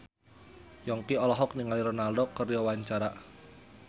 Yongki olohok ningali Ronaldo keur diwawancara